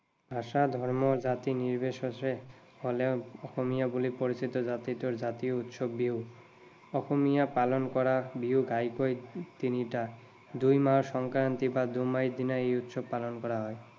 ভাষা, ধৰ্ম, জাতি নিৰ্বিশেষে অসমীয়া বুলি পৰিচিত জাতিটোৰ জাতীয় উৎসৱ বিহু। অসমীয়াই পালন কৰা বিহু ঘাঁইকৈ তিনিটা। দুই মাহৰ সংক্ৰান্তি বা দুমাহীৰ দিনা এই উৎসৱ পালন কৰা হয়।